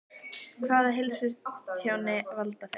Hvaða heilsutjóni valda þau?